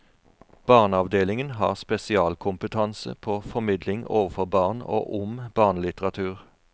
Barneavdelingen har spesialkompetanse på formidling overfor barn og om barnelitteratur.